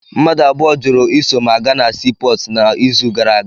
Mmadụ abụọ jụrụ iso m aga na sii pọọtụ n'izu gara aga.